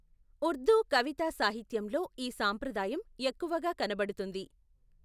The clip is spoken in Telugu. ఉర్దూ కవితా సాహిత్యంలో ఈ సాంప్రదాయం ఎక్కువగా కనబడుతుంది.